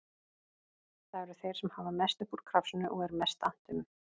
Það eru þeir sem hafa mest upp úr krafsinu og er mest annt um að